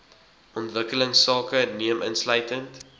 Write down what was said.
ontwikkelingsake neem insluitend